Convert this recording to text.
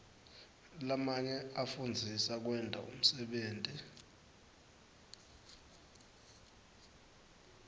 lamanye afundzisa kwenta umsebenti